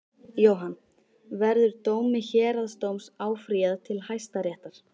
Jóhann: Verður dómi héraðsdóms áfrýjað til Hæstaréttar?